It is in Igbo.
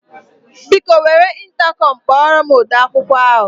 Biko, were ịntakọm kpọrọ m ode akwụkwọ m.